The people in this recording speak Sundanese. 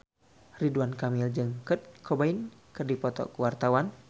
Ridwan Kamil jeung Kurt Cobain keur dipoto ku wartawan